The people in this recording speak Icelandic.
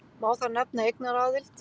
Má þar nefna eignaraðild.